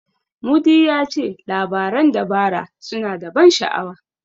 Mudi ya ce labaran dabara suna da ban sha'awa.